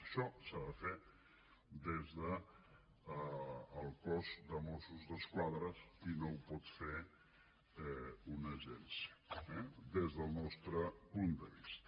això s’ha de fer des del cos de mossos d’esquadra i no ho pot fer una agència eh des del nostre punt de vista